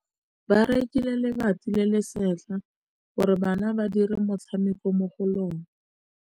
Ba rekile lebati le le setlha gore bana ba dire motshameko mo go lona.